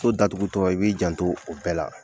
So datugutɔ i b'i janto o bɛɛ la.